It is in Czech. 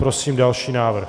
Prosím další návrh.